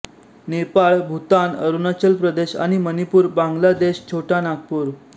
नेपाळ भूतान अरुणाचलप्रदेश आणि मणिपूर बांगला देश छोटा नागपूर